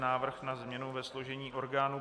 Návrh na změny ve složení orgánů